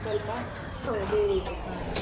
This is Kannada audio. ಸ್ವಲ್ಪ? ಅದೇ ಇದು ಹ.